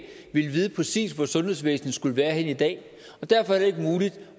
ville vide præcis hvor sundhedsvæsenet skulle være i dag